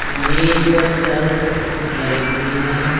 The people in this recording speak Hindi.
मेज पर चारों तरफ कुर्सियां लगी हुई है।